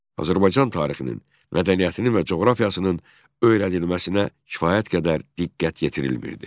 Azərbaycan tarixinin, mədəniyyətinin və coğrafiyasının öyrənilməsinə kifayət qədər diqqət yetirilmirdi.